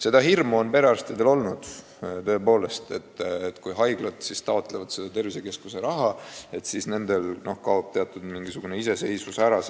Seda hirmu on perearstidel aga olnud, et kui haiglad taotlevad seda tervisekeskuste loomise raha, siis nendel kaob teatud osa iseseisvusest ära.